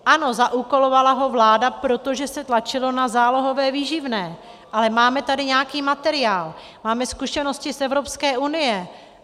Ano, zaúkolovala ho vláda, protože se tlačilo na zálohové výživné, ale máme tady nějaký materiál, máme zkušenosti z Evropské unie.